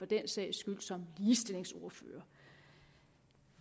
den sags skyld som ligestillingsordfører